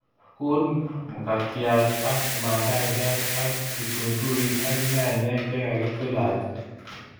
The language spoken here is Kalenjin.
Guur mkatiat ak mandasyat ako kitunguik ak nyanyek chegigitilatil